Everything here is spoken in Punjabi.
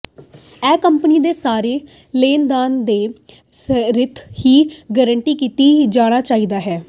ਇਹ ਕੰਪਨੀ ਦੇ ਸਾਰੇ ਲੈਣਦਾਰ ਦੇ ਹਿੱਤ ਦੀ ਗਾਰੰਟੀ ਕੀਤਾ ਜਾਣਾ ਚਾਹੀਦਾ ਹੈ